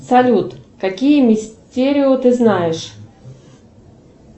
салют какие мистерио ты знаешь